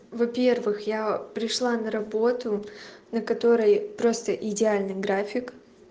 во-первых я пришла на работу на которой просто идеальный график